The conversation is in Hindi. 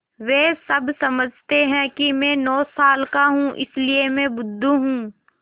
वे सब समझते हैं कि मैं नौ साल का हूँ इसलिए मैं बुद्धू हूँ